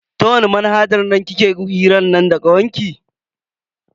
Ta wani manhajar kuke hiran nan da kawarki?